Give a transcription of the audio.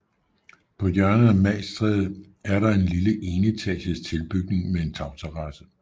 På hjørnet af Magstræde er der en lille enetages tilbygning med en tagterrasse